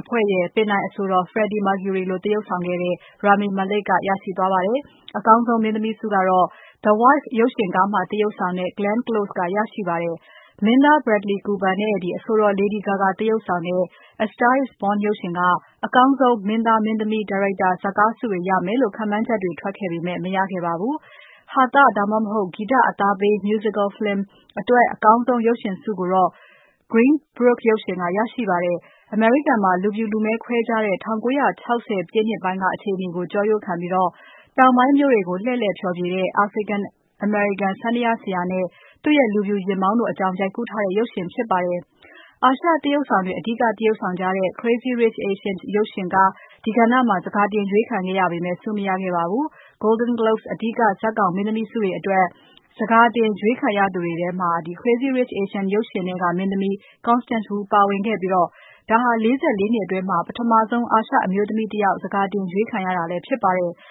အဖွဲ့ရဲ့ ပင်တိုင်အဆိုတော် Freddie Mercury လိုသရုပ်ဆောင်ခဲ့ Rami Malek ကရရှိသွားပါတယ်။ အကောင်းဆုံး မင်းသမီးဆုကိုတော့ The Wife ရုပ်ရှင်ကားမှာသရုပ်ဆောင်တဲ့ Glenn Close ကရရှိသွားပါတယ်။ မင်းသား Bradley Cooper နဲ့ အဆိုတော် Lady Gaga သရုပ်ဆောင်တဲ့ A Star is Born ရုပ်ရှင်က အကောင်းဆုံး မင်းသား၊ မင်းသမီး၊ ဒါရိုက်တာ၊ ဇတ်ကားဆုတွေရမယ်လို့ ခန့်မှန်းချက်တွေ ထွက်ခဲ့ပေမဲ့ မရခဲ့ပါဘူး။ ဟာသ ဒါမှမဟုတ် ဂီတအသားပေး Musical film အတွက် အကောင်းဆုံးရုပ်ရှင်ဆုကိုတော့ Green Book ရုပ်ရှင်က ရသွားပါတယ်။ အမေရိကန်မှာ လူ့ဖြူ လူမည်းခွဲခြားတဲ့ ၁၉၆၀ ပြည့်နှစ်ပိုင်းက အခြေအနေကို ကြောရိုးခံပြီး တောင်ပိုင်းမြို့တွေကို လှည့်လည်ဖျော်ဖြေတဲ့ African-American စန္ဒာယားဆရာနဲ့ သူ့ရဲ့ လူဖြူယာဉ်မောင်းတို့အကြောင်း ရိုက်ကူးတဲ့ရုပ်ရှင်ဖြစ်ပါတယ်။ အာရှသရုပ်ဆောင်တွေ အဓိကသရုပ်ဆောင်တဲ့ Crazy Rich Asians ရုပ်ရှင်ကား ဒီကဏ္ဍမှာ စကာတင်ရွေးခံခဲ့ရပေမဲ့ ဆုမရခဲ့ပါဘူး။ Golden Globes အဓိကဇတ်ဆောင် မင်းသမီးဆုတွေအတွက် ဇကာတင်ရွေးခံရသူတွေထဲမှာ Crazy Rich Asians ရုပ်ရှင်ထဲက မင်းသမီး Constance Wu ပါဝင်ခဲ့ပြီး ဒါဟာ ၄၄ နှစ်အတွင်း ပထမဆုံး အာရှအမျိုးသမီးတယောက် ဇကာတင်ရွေးခံရတာလည်းဖြစ်ပါတယ်။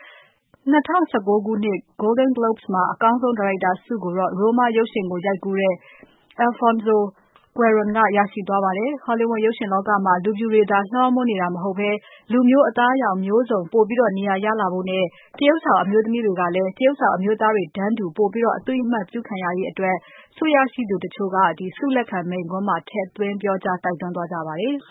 ၂၀၁၉ ခုနှစ် Golden Globes မှာအကောင်းဆုံး ဒါရိုက်တာဆုကိုတော့ Roma ရုပ်ရှင်ကိုရိုက်ကူးတဲ့ Alfonso Cuaron (ကွယ်ရွန်) က ရရှိသွားပါတယ်။ Hollywood ရုပ်ရှင်လောကမှာ လူဖြူတွေသာ လွှမ်းမိုးနေတာမျိုးမဟုတ်ဘဲ လူမျိုး၊ အသားအရောင်မျိုးစုံ ပိုပြီးနေရာရလာဖို့နဲ့ သရုပ်ဆောင်အမျိုးသမီးတွေကလည်း သရုပ်ဆောင်အမျိုးသားတွေ တန်းတူ ပိုပြီး အသိအမှတ်ပြုခံရရေးအတွက် ဆုရရှိသူတချို့က ဆုလက်ခံမိန့်ခွန်းမှာ ထည့်သွင်းပြောကြား တိုက်တွန်းသွားကြပါတယ်။